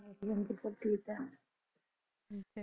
ਹਾਂਜੀ ਸਭ ਠੀਕ ਹੈ .